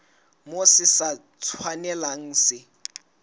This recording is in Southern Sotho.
moo se sa tshwanelang se